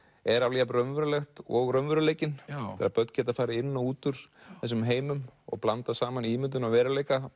er alveg jafn raunverulegt og raunveruleikinn þegar börn geta farið inn og út úr þessum heimum og blandað saman ímyndun og veruleika